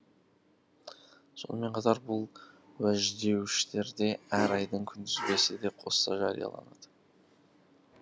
сонымен қатар бұл уәждеуіштерде әр айдың күнтізбесі де қоса жарияланады